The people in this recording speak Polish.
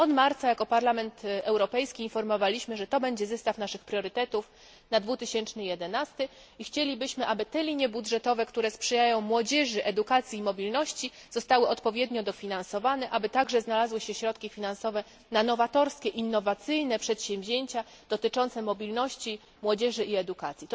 Od marca jako Parlament Europejski informowaliśmy, że to będzie zestaw naszych priorytetów na 2011 i chcielibyśmy, aby te linie budżetowe, które sprzyjają młodzieży, edukacji i mobilności zostały odpowiednio dofinansowane, aby także znalazły się środki finansowe na nowatorskie, innowacyjne przedsięwzięcia dotyczące mobilności młodzieży i edukacji.